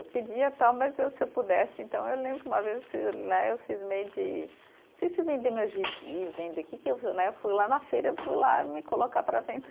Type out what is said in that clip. Pedia tal, mas eu se eu pudesse, então eu lembro que uma vez né eu cismei de, não sei se vender meus gibis, vender. Que que Né. Eu fui lá na feira, eu fui lá me colocar para vender.